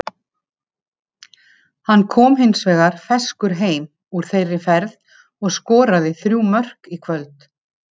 Hann kom hins vegar ferskur heim úr þeirri ferð og skoraði þrjú mörk í kvöld.